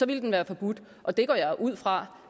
ville den være forbudt og det går jeg ud fra